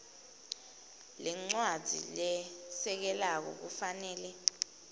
lencwadzi lesekelako kufanele